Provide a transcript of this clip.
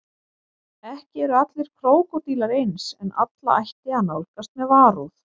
Ekki eru allir krókódílar eins en alla ætti að nálgast með varúð.